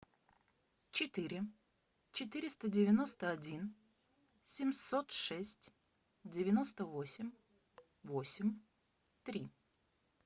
четыре четыреста девяносто один семьсот шесть девяносто восемь восемь три